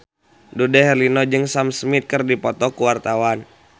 Dude Herlino jeung Sam Smith keur dipoto ku wartawan